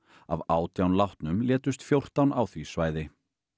af átján látnum létust fjórtán á því svæði